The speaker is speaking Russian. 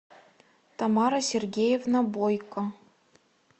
тамара сергеевна бойко